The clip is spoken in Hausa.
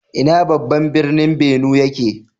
Ina babban birnin Benue yake?